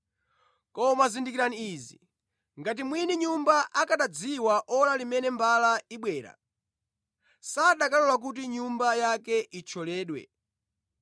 Koma zindikirani izi: Ngati mwini nyumba akanadziwa ora limene mbala ibwera, sakanalola kuti nyumba yake ithyoledwe.